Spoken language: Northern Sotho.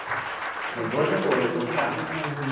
re bone gore o tla